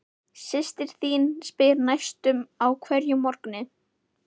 Systir þín spyr næstum á hverjum morgni